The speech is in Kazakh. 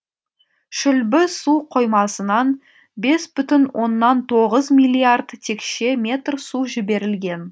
шүлбі су қоймасынан бес бүтін оннан тоғыз миллиард текше метр су жіберілген